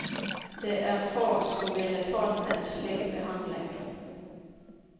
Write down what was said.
Det er få som ville tålt en slik behandling.